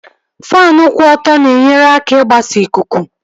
Faanụ kwụ ọtọ na-enyere aka n'igbasa ikuku